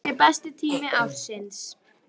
Þau segja að það sé besti tími ársins.